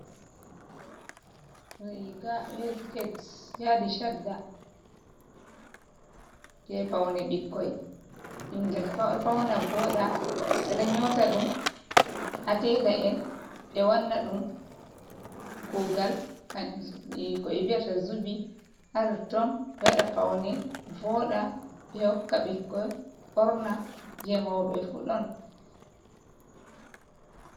Riga be siket. yaɗi shaɗɗa je paune ɓikkoi. Bingel fauna voɗɗa. Beɗo nyota ɗum ha tela en. Be wanna ɗum kugal ko be vi'ata zubi ha ton ton. be waɗa paune voɗɗa. Be hokka bikkoi borna je moube fu ɗon.